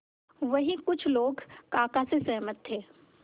वहीं कुछ लोग काका से सहमत थे